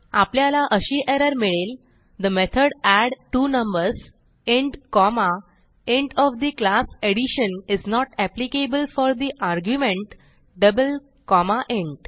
आपल्याला अशी एरर मिळेल the method add two numbers int comma int of the class addition is not applicable for the argument double comma int